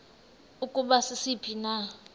ukuba sisiphi na